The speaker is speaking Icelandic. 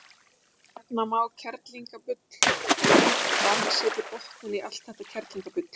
Nefna má: kerlingabull: og heimta að hann setji botninn í allt þetta kerlingabull